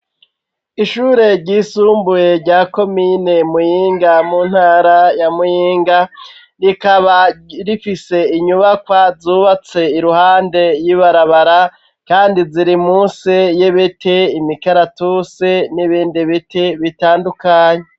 Ishure ryisumbuye rya komine Muyinga mu ntara ya Muyinga, rikaba rifise inyubakwa zubatse iruhande y'ibarabara kandi ziri musi y'ibiti, imikaratusi n'ibindi biti bitandukanye.